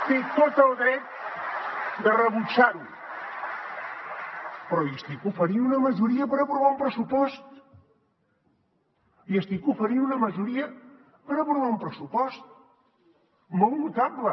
té tot el dret de rebutjar ho però li estic oferint una majoria per aprovar un pressupost li estic oferint una majoria per aprovar un pressupost molt notable